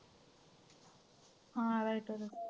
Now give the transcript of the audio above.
हां rider